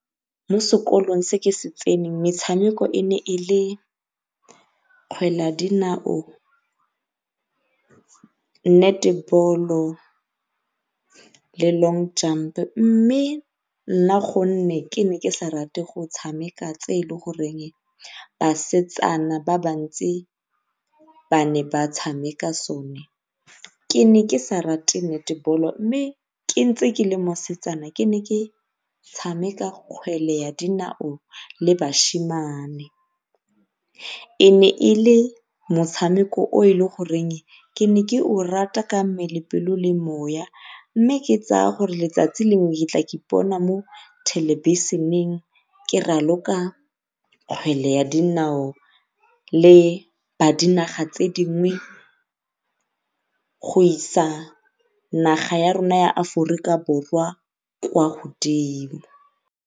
Mo sekolong se ke se tseneng metshameko e ne e le kgwele ya dinao, le long jump mme nna ka gore ne ke sa rate go tshameka tse e le goreng basetsana ba le bantsi ba ne ba tshameka sone ke ne ke sa rate mme ke ntse ke le mosetsana ke ne ke tshameka kgwele ya dinao le . E ne e le motshameko o e le goreng ne ke o rata ka mmele, pelo, le moya, mme ke tsaya gore letsatsi lengwe ke tla ipona mo thelebišheneng ke raloka kgwele ya dinao le ba dinaga tse dingwe go isa naga ya rona ya Aforika Borwa kwa godimo.